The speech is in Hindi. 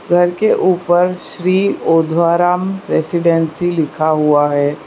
घर के ऊपर श्री ओधवा राम रेसीडेंसी लिखा हुआ है।